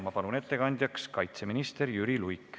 Ma palun ettekandjaks kaitseminister Jüri Luige.